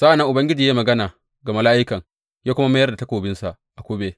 Sa’an nan Ubangiji ya yi magana ga mala’ikan, ya kuma mayar da takobinsa a kube.